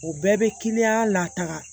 O bɛɛ bɛ lataga